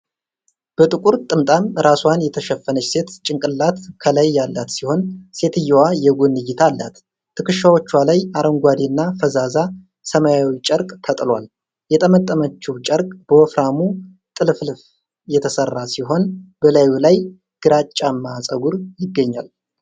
በጥቁር ጥምጣም ራስዋን የሸፈነች ሴት ጭንቅላት ከላይ ያላት ሲሆን ሴትየዋ የጎን እይታ አላት። ትከሻዎቿ ላይ አረንጓዴና ፈዛዛ ሰማያዊ ጨርቅ ተጥሏል። የጠመጠመችው ጨርቅ በወፍራሙ ጥልፍልፍ የተሠራ ሲሆን፣ በላዩ ላይ ግራጫማ ፀጉር ይገኛል።